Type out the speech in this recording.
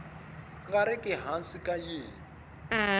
nga riki hansi ka yin